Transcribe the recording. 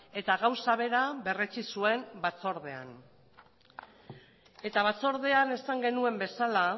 eta gauza bera berretsi zuen batzordean eta batzordean esan genuen bezala